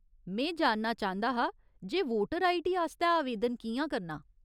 में जानना चांह्दा हा जे वोटर आईडी आस्तै आवेदन कि'यां करना।